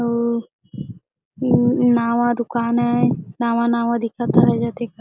अउ नवा का दूकान आय नावा-नावा दिखत है सब--